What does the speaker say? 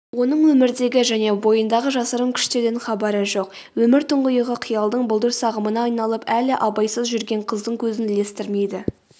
оның өмірдегі және бойындағы жасырын күштерден хабары жоқ өмір тұңғиығы қиялдың бұлдыр сағымына айналып әлі абайсыз жүрген қыздың көзін ілестірмейді